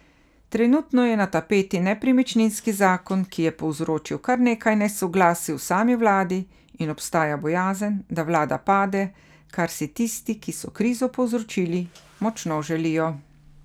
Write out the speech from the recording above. Trenutno je na tapeti nepremičninski zakon, ki je povzročil kar nekaj nesoglasij v sami vladi, in obstaja bojazen, da vlada pade, kar si tisti, ki so krizo povzročili, močno želijo.